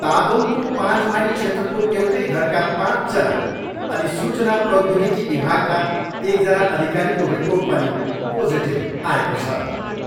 तादोङको पाँच माइल क्षेत्रको एउटै घरका पाँचजना अनि सूचना प्रौद्योगिकी विभागका एकजना अधिकारीको रिपोर्ट पनि पोजिटिभ आएको छ।